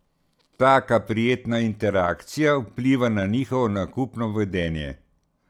Taka prijetna interakcija vpliva na njihovo nakupno vedenje.